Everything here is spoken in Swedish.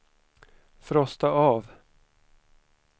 frosta av